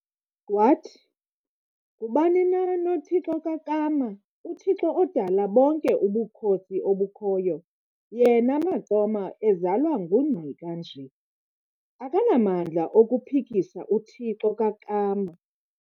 wathi, -"Ngubani na noThixo kaKama, uThixo odale bonke ubukhosi obukhoyo, yena, Maqoma, ezalwa nguNgqika nje, akanamandla okumphikisa uThixo kaKama."